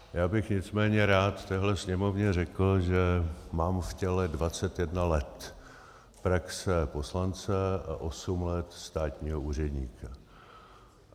Já bych nicméně rád téhle Sněmovně řekl, že mám v těle 21 let praxe poslance a osm let státního úředníka.